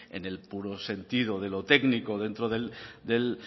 en el puro sentido de lo técnico dentro del